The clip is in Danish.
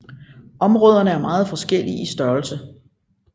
Områderne er meget forskellige i størrelse